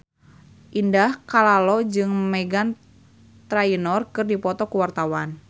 Indah Kalalo jeung Meghan Trainor keur dipoto ku wartawan